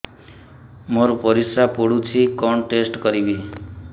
ମୋର ପରିସ୍ରା ପୋଡୁଛି କଣ ଟେଷ୍ଟ କରିବି